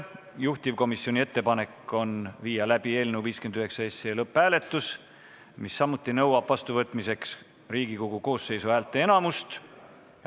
Juhtivkomisjoni ettepanek on viia läbi eelnõu 59 lõpphääletus, mis nõuab samuti vastuvõtmiseks Riigikogu koosseisu häälteenamust.